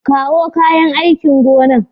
Kawo kayan aikin gona nan.